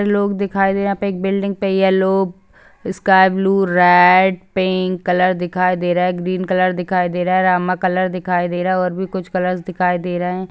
लोग दिखाई दे रहे यहाँ पे एक building yellow sky blue red pink colour दिखाई दे रहा है ग्रीन कलर दिखाई दे रहा है रामा कलर दिखाई दे रहा हैऔर भी कुछ कलर्स दिखाई दे रहे है।